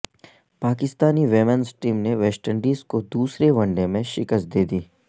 Pakistani women's team نے West Indies کو دوسرے ون ڈے میں شکست دیدی